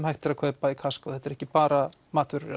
hægt er að kaupa í Costco þetta er ekki bara matvörur